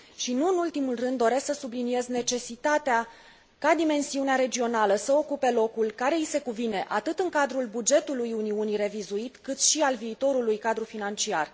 Nu în ultimul rând, doresc să subliniez necesitatea ca dimensiunea regională să ocupe locul care i se cuvine atât în cadrul bugetului Uniunii revizuit, cât și al viitorului cadru financiar.